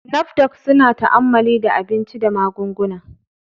NAFDAC suna ta'ammali da abinci da magunguna.